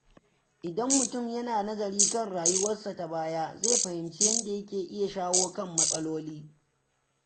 Idan mutum yana nazari kan rayuwarsa ta baya, zai fahimci yadda yake iya shawo kan matsaloli.